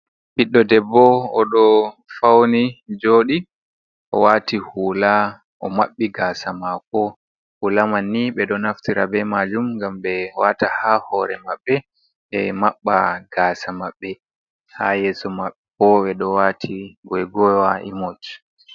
Ɓiɗɗo debbo oɗo fauni joɗi, o wati hula o maɓɓi gasa mako, hulaman ni ɓeɗo naftira be majum ngam ɓe wata ha hore maɓɓe ɓe maɓɓa gasa maɓɓe, ha yeso maɓɓe bo ɓeɗo wati goigoiwa imoj.